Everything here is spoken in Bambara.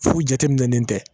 Fu jateminɛlen tɛ